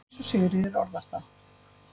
eins og Sigríður orðar það.